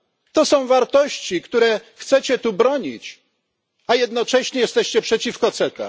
To są wartości, których chcecie tu bronić, a jednocześnie jesteście przeciwko CETA.